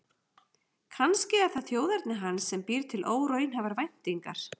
Kannski er það þjóðerni hans sem býr til óraunhæfar væntingar.